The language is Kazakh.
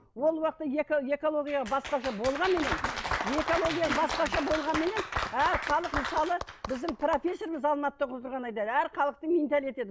ол уақытта экология басқаша болғанменен экология басқаша болғанменен әр халық мысалы біздің профессорымыз алматыда оқып отырған айтады әр халықтың менталитеті